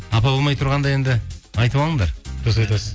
апа болмай тұрғанда енді айтып алыңдар дұрыс айтасың